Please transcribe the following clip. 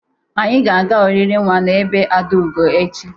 Snyị ga-aga oriri nwa n'ebe Adaugo echi.